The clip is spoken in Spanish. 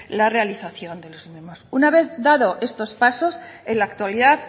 la realización de los una vez dado estos pasos en la actualidad